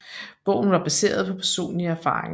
Bogen var baseret på personlige erfaringer